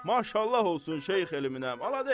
Maşallah olsun Şeyx elminə, maladets.